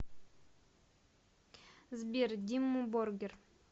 сбер димму боргир